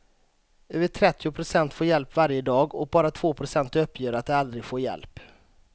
Över trettio procent får hjälp varje dag och bara två procent uppger att de aldrig får hjälp.